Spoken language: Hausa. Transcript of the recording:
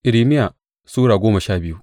Irmiya Sura goma sha biyu